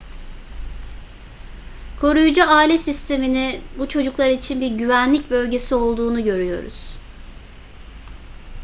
koruyucu aile sistemi'ni bu çocuklar için bir güvenlik bölgesi olduğunu görüyoruz